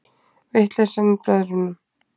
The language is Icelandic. Vitleysan í blöðunum